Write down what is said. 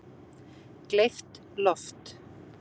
Gleypt loft